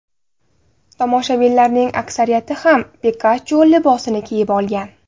Tomoshabinlarning aksariyati ham Pikachu libosini kiyib olgan.